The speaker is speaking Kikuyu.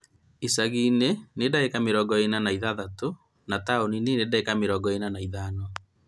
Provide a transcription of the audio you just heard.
Icagi-inĩ nĩ dagĩka mĩrongo ĩna na ithathatũ na taũni-inĩ dagĩka mĩrongo ĩna na ithano